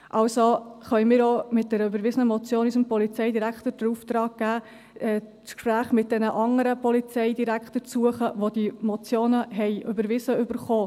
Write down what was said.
Also können wir mit unserer überwiesenen Motion unserem Polizeidirektor auch den Auftrag geben, das Gespräch mit den anderen Polizeidirektoren zu suchen, denjenigen wo diese Motionen überwiesen wurden.